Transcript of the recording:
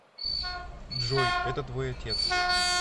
джой это твой отец